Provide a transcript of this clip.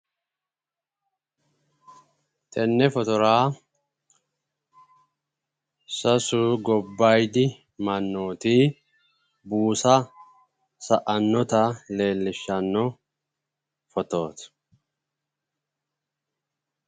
Tenne fotora sasu gobbayiidi mannooti buusa sa'annota leellishanno fotooti